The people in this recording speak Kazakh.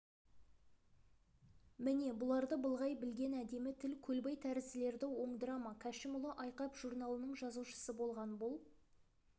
міне бұларды былғай білген әдемі тіл көлбай тәрізділерді оңдыра ма кәшімұлы айқап журналының жазушысы болған бұл